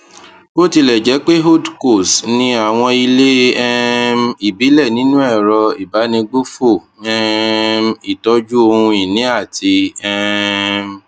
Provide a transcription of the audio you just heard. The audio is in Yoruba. bó tilẹ jẹ pé holdcos ní àwọn ilé um ìbílẹ nínú ẹrọ ìbánigbófò um ìtọjú ohun ìní àti um